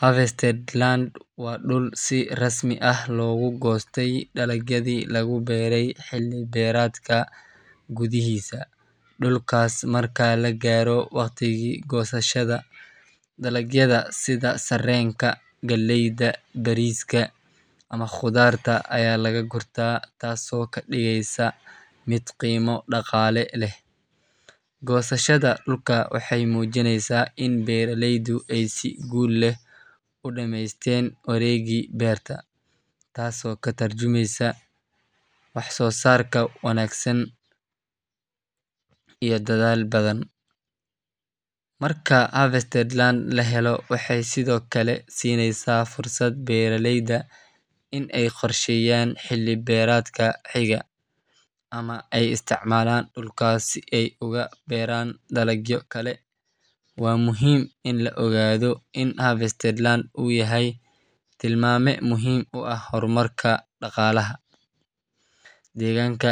harvested land waa dhul si rasmi ah loogu goostay dalagyadii lagu beeray xilli beereedka gudihiisa. Dhulkaas marka la gaaro waqtigii goosashada, dalagyada sida sarreenka, galleyda, bariiska ama khudaarta ayaa laga gurtaa, taasoo ka dhigeysa mid qiimo dhaqaale leh. Goosashada dhulka waxay muujinaysaa in beeraleydu ay si guul leh u dhameysteen wareegii beerta, taasoo ka tarjumaysa wax-soo-saar wanaagsan iyo dadaal badan. Marka harvested land la helo, waxay sidoo kale siinaysaa fursad beeraleyda in ay qorsheeyaan xilli beereedka xiga, ama ay isticmaalaan dhulkaas si ay ugu beeraan dalagyo kale. Waa muhiim in la ogaado in harvested land uu yahay tilmaame muhiim u ah horumarka dhaqaalaha deegaanka,